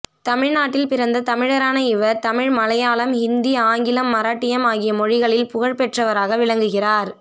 தமிழ்நாட்டில் பிறந்த தமிழரான இவர் தமிழ் மலையாளம் ஹிந்தி ஆங்கிலம் மராட்டியம் ஆகிய மொழிகளில் புகழ் பெற்றவராக விளங்குகிறார்